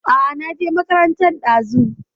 A a, na je makarantan ɗazu.